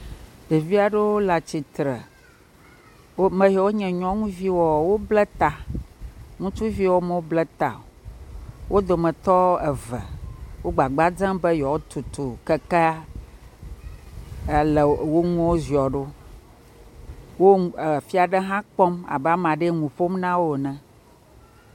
Ɖevi aɖewo le atsi tre, me yi wo nye nyɔnuviwoa wole atsi tre. Ŋutsuviwo me bla ta o. wo dometɔ eve wo gbafba dzem be yewoa tutu kekea ele wo ŋue wo zɔ ɖo, wo fia ɖe hã kpɔ abe ame aɖe nuƒom nawo ene.